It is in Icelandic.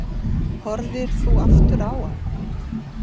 Þórir: Horfðir þú aftur á hann?